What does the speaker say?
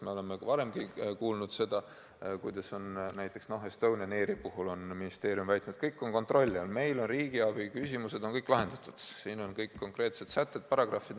Me oleme varem kuulnud ministeeriumi väiteid näiteks Estonian Airi puhul, et kõik on kontrolli all, meil on kõik riigiabi küsimused lahendatud, siin on kõik konkreetsed sätted-paragrahvid.